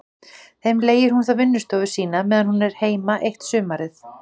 Þeim leigir hún þá vinnustofu sína meðan hún er heima eitt sumarið.